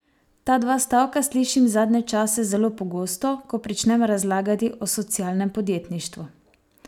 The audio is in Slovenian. Ta dva stavka slišim zadnje čase zelo pogosto, ko pričnem razlagati o socialnem podjetništvu.